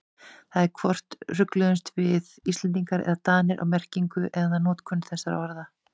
Það er hvort rugluðumst við Íslendingar eða Danir á merkingu eða notkun þessara orða.